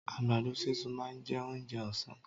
Àgbàdo sísun máa jẹ́ oúnjẹ òsán.